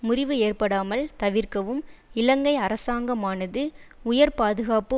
முறிவு ஏற்படாமல் தவிர்க்கவும் இலங்கை அரசாங்கமானது உயர் பாதுகாப்பு